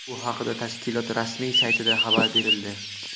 Bu haqida tashkilot rasmiy saytida xabar berildi .